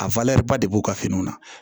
A ba de b'u ka fini na